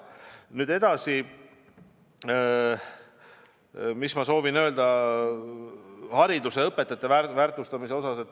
Nüüd edasi, mis ma veel soovin öelda hariduse, õpetajate väärtustamise kohta.